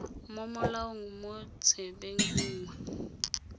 mo molaong mo tsebeng nngwe